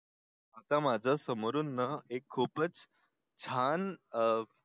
आता माझं समोरून एक खूपच छान आहे